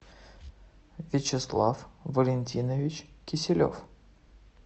вячеслав валентинович киселев